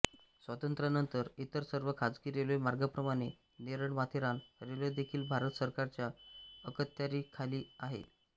स्वातंत्र्यानंतर इतर सर्व खाजगी रेल्वेमार्गांप्रमाणे नेरळमाथेरान रेल्वेदेखील भारत सरकारच्या अखत्यारीखाली आली